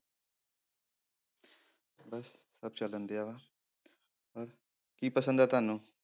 ਬਸ ਸਭ ਚੱਲਣ ਡਿਆ ਵਾ ਬਸ, ਕੀ ਪਸੰਦ ਹੈ ਤੁਹਾਨੂੰ?